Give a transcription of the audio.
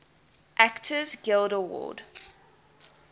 actors guild award